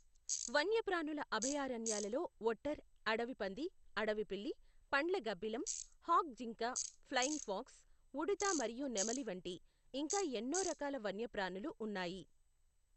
వన్యప్రాణుల అభయారణ్యాలలో ఒట్టర్, అడవి పంది, అడవిపిల్లి, పండ్ల గబ్బిలం, హాగ్ జింక, ఫ్లయింగ్ ఫాక్స్, ఉడుత మరియు నెమలి వంటి ఇంకా ఎన్నో రకాల వన్యప్రాణులు ఉన్నాయి.